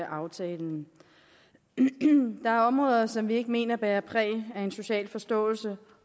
aftalen der er områder som vi ikke mener bærer præg af en social forståelse